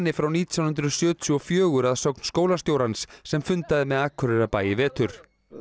frá nítján hundruð sjötíu og fjögur að sögn skólastjórans sem fundaði með Akureyrarbæ í vetur